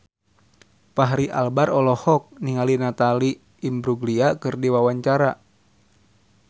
Fachri Albar olohok ningali Natalie Imbruglia keur diwawancara